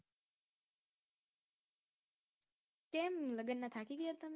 કેમ લગ્નનાં થાકી ગયા તમે